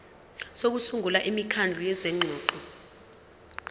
sokusungula imikhandlu yezingxoxo